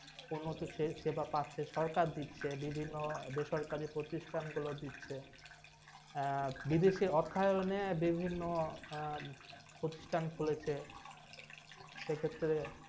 সেক্ষেত্রে উন্নত সেবা পাচ্ছে। সরকার দিচ্ছে, বিভিন্ন বেসরকারি প্রতিষ্ঠানগুলো দিচ্ছে। বিদেশি অর্থায়নে বিভিন্ন প্রতিষ্ঠান খুলেছে। সেক্ষেত্রে